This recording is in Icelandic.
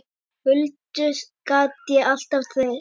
Huldu gat ég alltaf treyst.